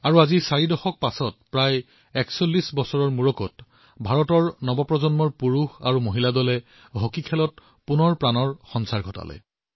আৰু চাৰি দশকৰ পিছত প্ৰায় ৪১ বছৰৰ পিছত ভাৰতৰ যুৱচামে পুত্ৰ আৰু কন্যাসকলে পুনৰ এবাৰ হকী উজ্জীৱিত কৰি তুলিলে